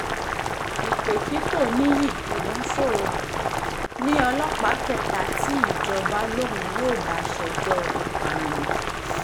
ìpèkìtò níyí ògúnṣòro ní ọlọ́pàá kẹta tí ìjọba um lòun yóò bá ṣèjọ um ìpànìyàn